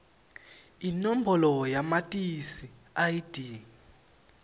inombolo yamatisi id